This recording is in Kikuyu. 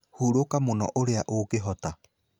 Hũrũka mũno ũrĩa ũngĩhota.